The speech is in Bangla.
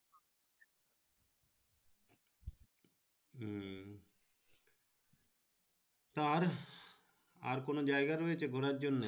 আর আর কোনো জায়গা রয়েছে ঘুরা জন্য।